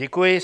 Děkuji.